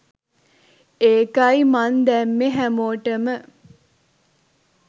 ඒකයි මං දැම්මේ හැමෝටම